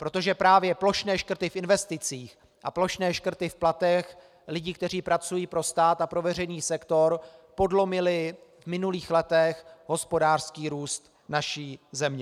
Protože právě plošné škrty v investicích a plošné škrty v platech lidí, kteří pracují pro stát a pro veřejný sektor, podlomily v minulých letech hospodářský růst naší země.